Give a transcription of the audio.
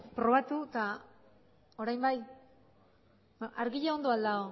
probatu eta orain bai argia ondo ahal dago